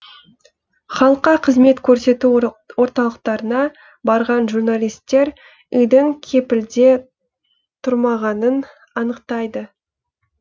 халыққа қызмет көрсету орталықтарына барған журналистер үйдің кепілде тұрмағанын анықтайды